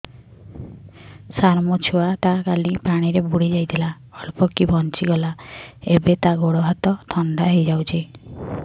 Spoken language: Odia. ସାର ମୋ ଛୁଆ ଟା କାଲି ପାଣି ରେ ବୁଡି ଯାଇଥିଲା ଅଳ୍ପ କି ବଞ୍ଚି ଗଲା ଏବେ ତା ଗୋଡ଼ ହାତ ଥଣ୍ଡା ହେଇଯାଉଛି